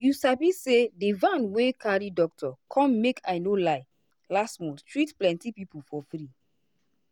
you sabi say di van wey carry doctor come make i no lie last month treat plenty people for free.